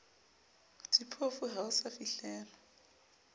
diphofu ha ho sa fihlelwa